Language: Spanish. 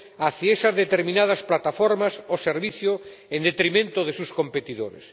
hacia esas determinadas plataformas o servicios en detrimento de sus competidores.